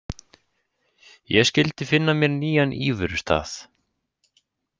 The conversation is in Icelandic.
Ég skyldi finna mér nýjan íverustað.